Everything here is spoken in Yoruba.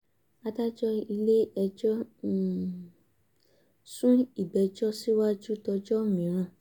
adájọ́ ilé-ẹjọ́ um sún ìgbẹ́jọ́ síwájú dọjọ́ mìíràn